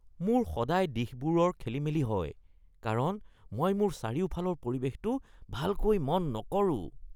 মোৰ সদায় দিশবোৰৰ খেলিমেলি হয় কাৰণ মই মোৰ চাৰিওফালৰ পৰিৱেশটো ভালকৈ মন নকৰোঁ (পৰ্যটক)